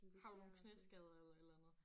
Har du nogle knæskader eller et eller andet